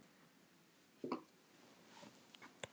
Vél, vél, vél.